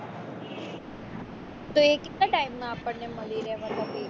તો એ કેટલા time માં મળી રે મતલબ એ